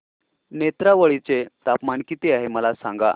नेत्रावळी चे तापमान किती आहे मला सांगा